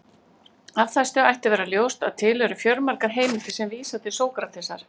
Af þessu ætti að vera ljóst að til eru fjölmargar heimildir sem vísa til Sókratesar.